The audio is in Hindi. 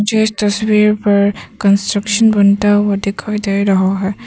मुझे इस तस्वीर पर कंस्ट्रक्शन बनता हुआ दिखाई दे रहा है।